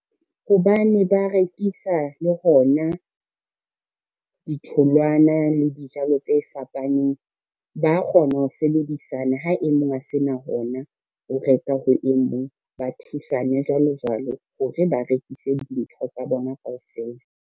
Hobane ba rekisa le hona, ditholwana le dijalo tse fapaneng. Ba kgona ho sebedisana ha e mong ho sena hona o reka ho e mong, ba thusane jwalo jwalo hore ba rekise dintho tsa bona kaofela.